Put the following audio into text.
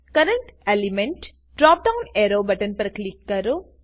current element drop down arrow button પર click કરો